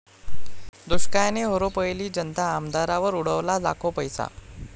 दुष्काळाने होरपळली जनता, आमदारावर उडवला लाखो पैसा!